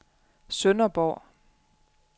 Sønderborg